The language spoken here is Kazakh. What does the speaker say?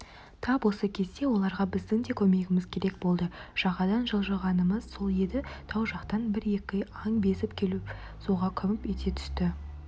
тап осы кезде оларға біздің де көмегіміз керек болды жағадан жылжығанымыз сол еді тау жақтан бір-екі аң безіп келіп суға күмп ете түсті